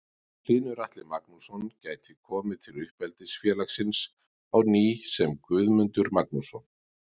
Hlynur Atli Magnússon gæti komið til uppeldisfélagsins á ný sem og Guðmundur Magnússon.